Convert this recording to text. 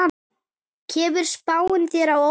Kemur spáin þér á óvart?